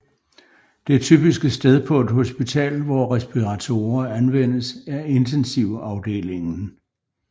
Det typiske sted på et hospital hvor respiratorer anvendes er intensivafdelingen